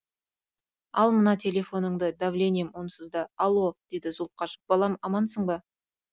ал мына телефонды давлением онсыз да алло деді зұлқаш балам амансың ба